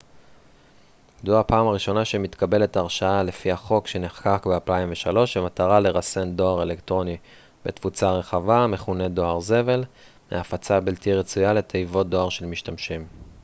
זו הפעם הראשונה שמתקבלת הרשעה לפי החוק שנחקק ב-2003 במטרה לרסן דואר אלקטרוני בתפוצה רחבה המכונה דואר זבל מהפצה בלתי רצויה לתיבות דואר של משתמשים